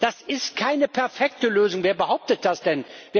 Das ist keine perfekte Lösung, wer behauptet das denn?